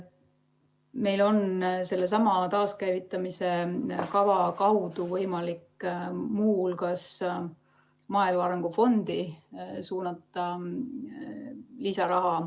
Meil on sellesama taaskäivitamise kava kaudu võimalik muu hulgas suunata lisaraha maaelu arengu fondi.